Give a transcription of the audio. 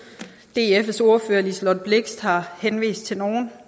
dfs ordfører fru liselott blixt har henvist til nogle